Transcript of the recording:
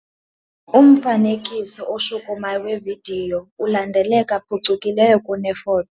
Umfanekiso oshukumayo wevidiyo ulandeleka phucukileyo kunefoto.